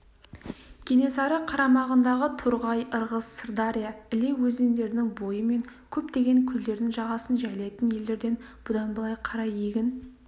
кенесары қарамағындағы торғай ырғыз сырдаря іле өзендерінің бойы мен көптеген көлдердің жағасын жайлайтын елдерден бұдан былай қарай егін